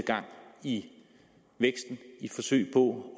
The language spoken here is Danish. i to